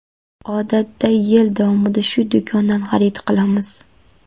Odatda yil davomida shu do‘kondan xarid qilamiz.